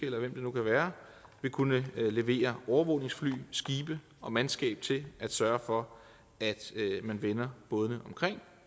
eller hvem det nu kan være kunne levere overvågningsfly skibe og mandskab til at sørge for at man vender bådene omkring